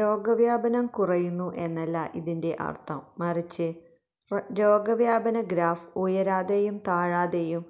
രോഗവ്യാപനം കുറയുന്നു എന്നല്ല ഇതിന്റെ അർത്ഥം മറിച്ച് രോഗവ്യാപന ഗ്രാഫ് ഉയരാതെയും താഴാതെയും